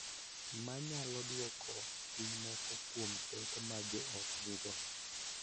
Ma nyalo dwoko piny moko kuom pek ma jo ot nigo .